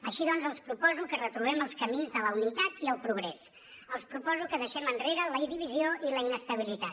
així doncs els proposo que retrobem els camins de la unitat i el progrés els proposo que deixem enrere la divisió i la inestabilitat